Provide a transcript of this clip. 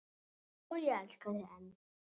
Og ég elska þig enn.